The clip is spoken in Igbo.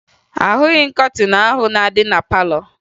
Ahụghị m kọtịn ahụ na-adị na palọ